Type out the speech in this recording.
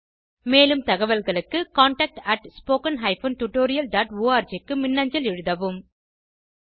மேலும் தகவல்களுக்கு contactspoken tutorialorg க்கு மின்னஞ்சல் எழுதவும்